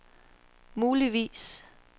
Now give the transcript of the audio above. muligvis